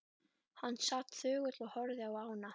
Hann sat þögull og horfði á ána.